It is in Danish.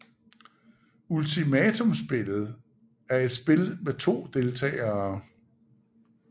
Ultimatumspillet er et spil med to deltagere